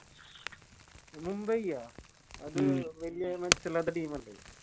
മുംബൈയ അത് വല്യ മെച്ചയില്ലാത്ത Team അല്ലെ